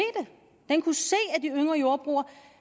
at de yngre jordbrugere